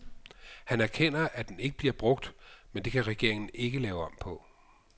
Han erkender, at den ikke bliver brugt, men det kan regeringen ikke lave om på.